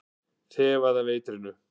Þefaði af eitrinu.